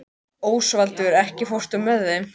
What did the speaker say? Ósvaldur, ekki fórstu með þeim?